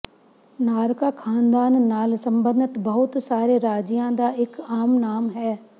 ਨਾਰਕਾ ਖ਼ਾਨਦਾਨ ਨਾਲ ਸਬੰਧਤ ਬਹੁਤ ਸਾਰੇ ਰਾਜਿਆਂ ਦਾ ਇਕ ਆਮ ਨਾਮ ਹੈ